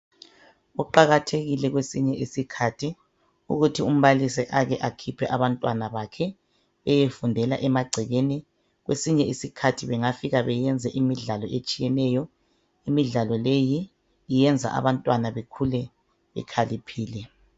Kuqakathekile kwesinye isikhathi ukuthi umbalisi ake akhiphe abantwana bakhe eyefundela emagcekeni kwesinye isikhathi bengafika beyenze imidlalo etshiyeneyo imidlalo leyi iyenza abantwana bekhule bekhaliphile.